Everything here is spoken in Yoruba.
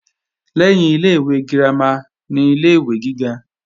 Lẹ́yìn ilé-ìwé girama ni ilé-ìwé gíga